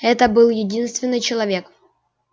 это был единственный человек